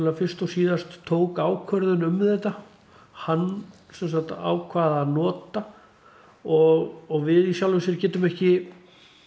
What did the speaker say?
fyrst og síðast tók ákvörðun um þetta hann semsagt ákvað að nota og við í sjálfu sér getum ekki